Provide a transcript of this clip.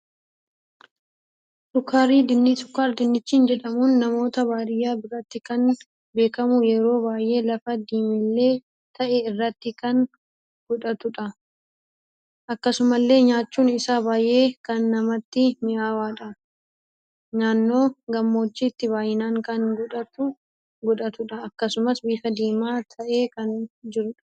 Sukkar dinnichi jedhamuun namoota baadiyyaa biratti kan beekamu yeroo baay'ee lafa diimillee ta'e irratti kan godhatudha. Akkasumallee nyaachuun isaa baay'ee kan namatti mi'aawudha. Naannoo gammoojjiitti baay'inaan kan godhatudha. Akkasumas bifa diima ta'en kan jirudha.